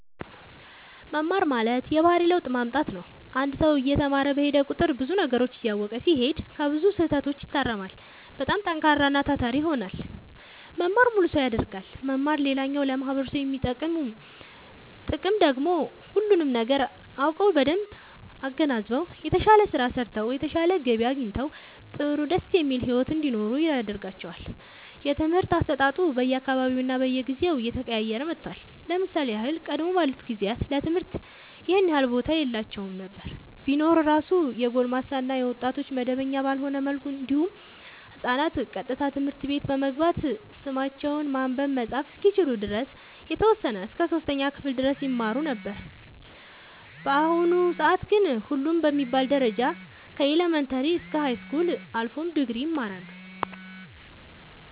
መማር ማለት የባህሪ ለውጥ ማምጣት ነው አንድ ሰው እየተማረ በሄደ ቁጥር ብዙ ነገሮችን እያወቀ ሲሄድ ከብዙ ስህተቶች ይታረማል በጣም ጠንካራና ታታሪ ይሆናል መማር ሙሉ ሰው ያደርጋል መማር ሌላኛው ለማህበረሰቡ የሚሰጠው ጥቅም ደግሞ ሁሉንም ነገር አውቀው በደንብ አገናዝበው የተሻለ ስራ ሰርተው የተሻለ ገቢ አግኝተው ጥሩ ደስ የሚል ሒወት እንዲኖሩ ያደርጋቸዋል። የትምህርት አሰጣጡ በየ አካባቢውና በየጊዜው እየተቀያየረ መጥቷል ለምሳሌ ያህል ቀደም ባሉት ጊዜያት ለትምህርት ይኸን ያህል ቦታ የላቸውም ነበር ቢኖር እራሱ የጎልማሳ እና የወጣቶች መደበኛ ባልሆነ መልኩ እንዲሁም ህፃናት ቀጥታ ትምህርት ቤት በመግባት ስማቸውን ማንበብ መፃፍ እስከሚችሉ ድረስ የተወሰነ እስከ 3ኛ ክፍል ድረስ ይማሩ ነበር በአሁኑ ሰአት ግን ሁሉም በሚባል ደረጃ ከኢለመንታሪ እስከ ሀይስኩል አልፎም ድግሪ ይማራሉ